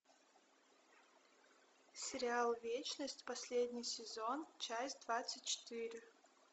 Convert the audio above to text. сериал вечность последний сезон часть двадцать четыре